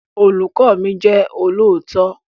Olùkọ́ mi jẹ́ olóòótọ́